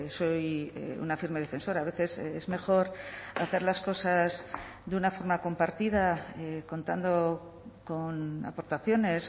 soy una firme defensora a veces es mejor hacer las cosas de una forma compartida contando con aportaciones